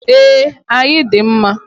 E, ayi dị mma.